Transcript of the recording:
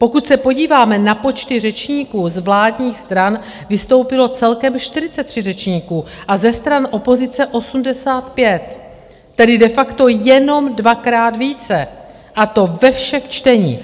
Pokud se podíváme na počty řečníků, z vládních stran vystoupilo celkem 43 řečníků a ze stran opozice 85, tedy de facto jenom dvakrát více, a to ve všech čteních.